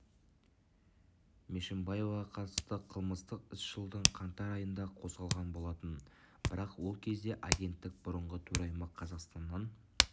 мешімбаеваға қатысты қылмыстық іс жылдың қаңтар айында қозғалған болатын бірақ ол кезде агенттіктің бұрынғы төрайымы қазақстаннан